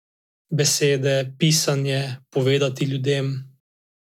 Besede, pisanje, povedati ljudem.